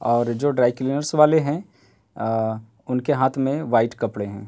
और जो dry cleaners वाले हैं आ उनके हाथ में वाइट कपड़े हैं।